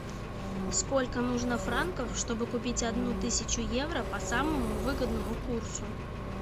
сколько нужно франков чтобы купить одну тысячу евро по самому выгодному курсу